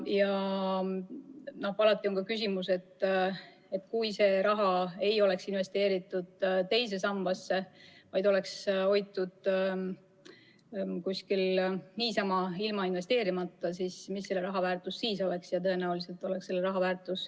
Ja alati jääb küsimus, et kui seda raha ei oleks investeeritud II sambasse, vaid seda oleks hoitud kuskil niisama, ilma investeerimata, siis mis selle raha väärtus sel juhul oleks.